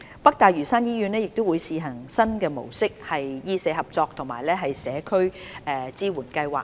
北大嶼山醫院亦會試行新模式的醫社合作及社區支援計劃。